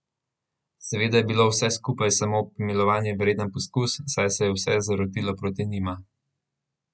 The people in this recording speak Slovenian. Seveda je bilo vse skupaj samo pomilovanja vreden poskus, saj se je vse zarotilo proti njima.